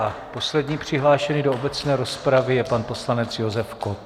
A poslední přihlášený do obecné rozpravy je pan poslanec Josef Kott.